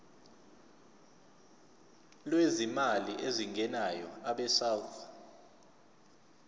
lwezimali ezingenayo abesouth